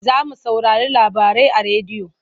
Za mu saurari labarai a rediyo.